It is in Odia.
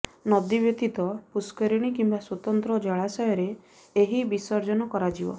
ନଦୀ ବ୍ୟତିତ ପୁଷ୍କରିଣୀ କିମ୍ବା ସ୍ବତନ୍ତ୍ର ଜଳାଶୟରେ ଏହି ବିସର୍ଜନ କରାଯିବ